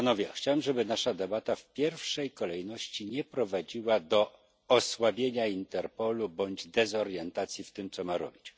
Chciałem, żeby nasza debata w pierwszej kolejności nie prowadziła do osłabienia Interpolu bądź dezorientacji w tym, co ma robić.